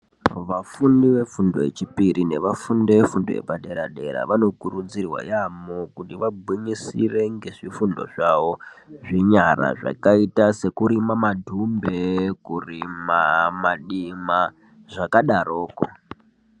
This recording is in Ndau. Vafundi vefundo yechipiri nevafundi vefundo yepadera dera vanokurudzirwa yambo kuti vagwinyisire ngezvifundo zvawo zvenyara zvakaita sekurima madhumbe kurima madima zvakadaroko.